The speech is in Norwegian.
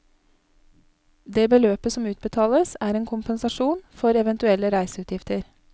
Det beløpet som utbetales, er en kompensasjon for eventuelle reiseutgifter.